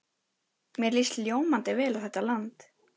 Mér líst ljómandi vel á þetta land.